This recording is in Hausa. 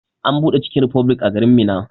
An buɗe chicken republic a garin Minna.